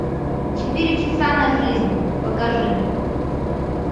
четыре часа на жизнь покажи